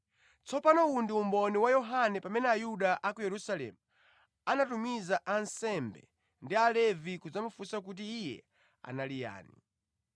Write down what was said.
Tsopano uwu ndi umboni wa Yohane pamene Ayuda a ku Yerusalemu anatumiza ansembe ndi Alevi kudzamufunsa kuti iye anali yani.